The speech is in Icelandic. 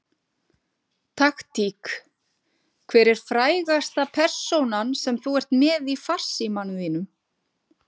Taktík Hver er frægasta persónan sem þú ert með í farsímanum þínum?